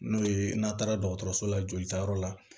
N'o ye n'a taara dɔgɔtɔrɔso la jolitayɔrɔ la